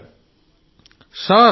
దినేష్ ఉపాధ్యాయ గారు సార్